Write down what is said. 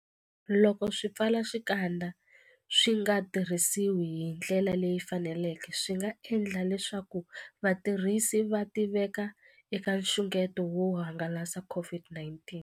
Loko swipfalaxikandza swi nga tirhisiwi hi ndlela leyi faneleke, swi nga endla leswaku vatirhisi va tiveka eka nxungeto wo hangalasa COVID-19.